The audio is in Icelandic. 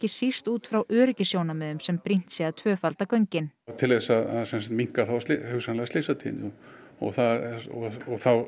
síst út frá öryggissjónarmiðum sem brýnt sé að tvöfalda göngin til þess að minnka þá hugsanlega slysatíðni og þá